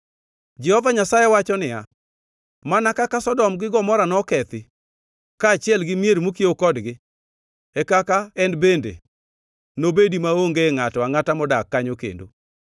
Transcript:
Jehova Nyasaye wacho niya, “Mana kaka Sodom gi Gomora nokethi, kaachiel gi mier mokiewo kodgi, e kaka en bende nobedi maonge ngʼato angʼata modak kanyo kendo.